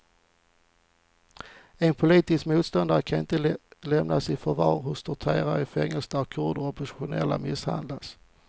En politisk motståndare kan inte lämnas i förvar hos torterare i fängelser där kurder och oppositionella misshandlas.